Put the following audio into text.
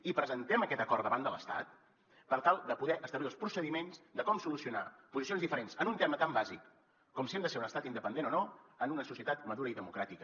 i presentem aquest acord davant de l’estat per tal de poder establir els procediments de com solucionar posicions diferents en un tema tan bàsic com si hem de ser un estat independent o no en una societat madura i democràtica